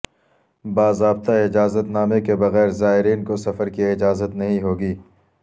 باضابطہ اجازت نامے کے بغیر زائرین کو سفرکی اجازت نہیں ہوگی